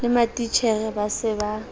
le matitjhere ba se ba